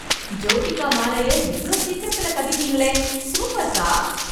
ஜோதிகா மாலைய இவ்ளோ சீக்கிரத்துல காட்டிட்டீங்களே. சூப்பர்க்கா.